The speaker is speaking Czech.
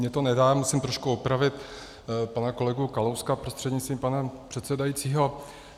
Mně to nedá, musím trošku opravit pana kolegu Kalouska prostřednictvím pana předsedajícího.